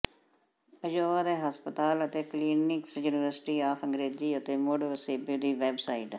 Iowa ਦੇ ਹਸਪਤਾਲ ਅਤੇ ਕਲੀਨਿਕਸ ਯੂਨੀਵਰਸਿਟੀ ਆੱਫ ਅੰਗ੍ਰੇਜ਼ੀ ਅਤੇ ਮੁੜ ਵਸੇਬੇ ਦੀ ਵੈਬਸਾਈਟ